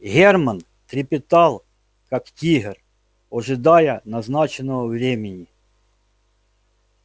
германн трепетал как тигр ожидая назначенного времени